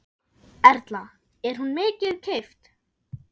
Erla: Er hún mikið keypt?